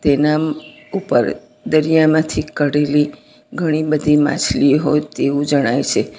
એના મ ઉપર દરિયામાંથી કાઢેલી ઘણી બધી માછલી હોય તેવું જણાય છે.